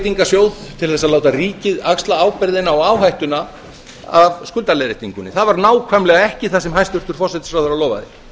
umbreytingarsjóð til þess að láta ríkið axla ábyrgðina og áhættuna af skuldaleiðréttingunni það var nákvæmlega ekki það sem hæstvirtur forsætisráðherra lofaði